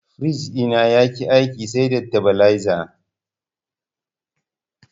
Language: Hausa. Firij ɗina yaƙi aiki sai da tabileza.